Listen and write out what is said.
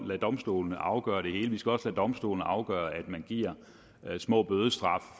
lade domstolene afgøre det hele vi skal også lade domstolene afgøre at man giver små bødestraffe